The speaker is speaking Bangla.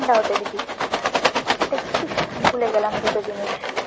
ঠান্ডা হতে দিবি, দেখছিস ভুলে গেলাম দুটো জিনিস।